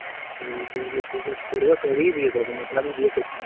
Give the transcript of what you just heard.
Business ফিসনেস করবো তবেই বিয়ে করবো না তো আমি বিয়ে করছি না।